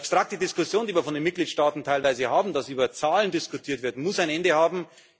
Die abstrakte Diskussion, die wir von den Mitgliedstaaten teilweise haben, dass über Zahlen diskutiert wird, muss ein Ende haben.